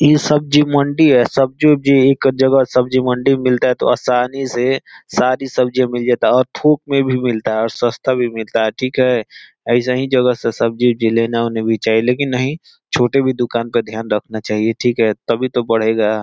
इ सब्जी मंडी है। सब्जी-ओब्जी एक जगह सब्जी मंडी में मिलता है तो आसानी से सारी सब्जियां मिल जाता है और थोक में भी मिलता है और सस्ता भी मिलता है ठीक है। ऐसहीं जगह से सब्जी-ओब्जी लेना ओना भी चाहिए। लेकिन नहीं छोटे भी दुकान पर ध्यान रखना चाहिए तभी तो बढ़ेगा।